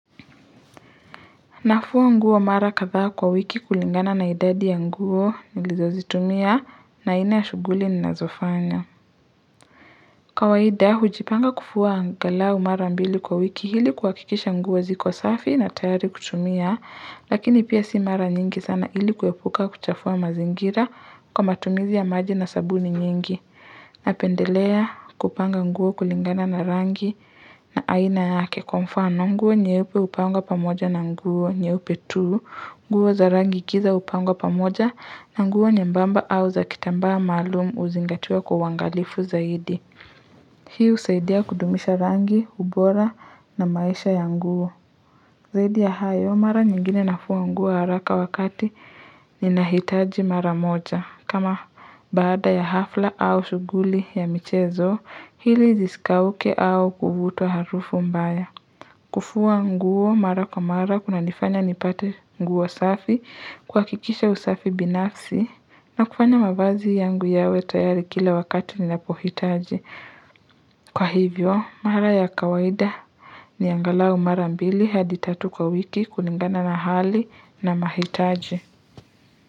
Nafua nguo mara katha kwa wiki kulingana na idadi ya nguo nilizozitumia na ina ya shuguli ninazofanya. Kawaida hujipanga kufua angalau mara mbili kwa wiki ili kuhakikisha nguo ziko safi na tayari kutumia, lakini pia si mara nyingi sana ili kuepuka kuchafua mazingira kwa matumizi ya maji na sabuni nyingi. Napendelea kupanga nguo kulingana na rangi na aina yake kwa mfano nguo nyeupe hupangwa pamoja na nguo nyeupe tu nguo za rangi giza hupangwa pamoja na nguo nyembamba au za kitambaa maalum huzingatiwa kwa uangalifu zaidi Hi husaidia kudumisha rangi, ubora na maisha ya nguo Zaidi ya hayo mara nyingine nafua nguo haraka wakati ninahitaji mara moja kama baada ya hafla au shuguli ya michezo, hili zisikauke au kuvuta harufu mbaya. Kufua nguo mara kwa mara, kunanifanya nipate nguo safi, kuhakikikisha usafi binafsi, na kufanya mavazi yangu yawe tayari kila wakati ninapohitaji. Kwa hivyo, mara ya kawaida ni angalau mara mbili, hadi tatu kwa wiki, kuliningana na hali na mahitaji.